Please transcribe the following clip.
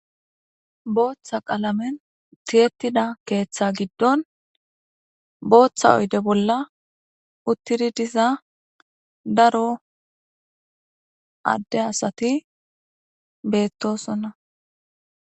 Booththa qaalamen tiyettida keeththa giddon booththa oyde bolla uttidi diza daro adde asati beettosonna.